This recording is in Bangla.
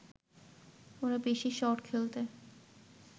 ওরা বেশি শট খেলতে